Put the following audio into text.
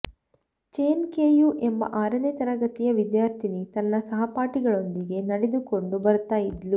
ಚೆನ್ Keyu ಎಂಬ ಆರನೇ ತರಗತಿಯ ವಿದ್ಯಾರ್ಥಿನಿ ತನ್ನ ಸಹಪಾಠಿಗಳೊಂದಿಗೆ ನಡೆದುಕೊಂಡು ಬರ್ತಾ ಇದ್ಲು